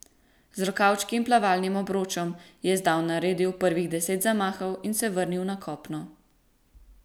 Z rokavčki in plavalnim obročem je zdaj naredil prvih deset zamahov in se vrnil na kopno.